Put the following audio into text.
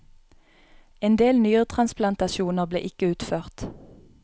En del nyretransplantasjoner blir ikke utført.